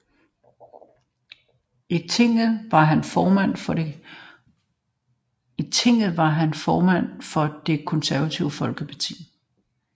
I tinget var han formand for Det Konservative Folkeparti